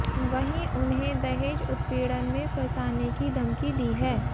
वहीं उन्हें दहेज उत्पीड़न में फंसाने की धमकी दी है